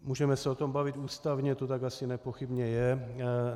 Můžeme se o tom bavit, ústavně to tak asi nepochybně je.